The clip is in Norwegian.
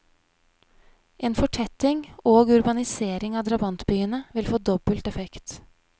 En fortetting og urbanisering av drabantbyene vil få dobbelt effekt.